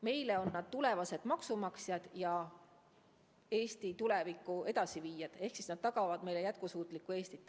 Meile on nad tulevased maksumaksjad ja Eesti tuleviku edasiviijad ehk nad tagavad meile jätkusuutliku Eesti.